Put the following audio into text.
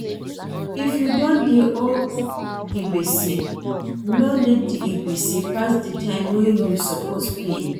If you don dey owe gbese, no let di gbese pass di time wey you suppose pay